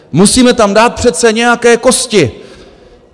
Musíme tam dát přece nějaké kosti.